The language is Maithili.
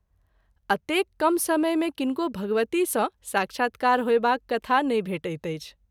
अतेक कम समय मे किनको भगवती सँ साक्षात्कार होएबाक कथा नहिं भेटैत अछि।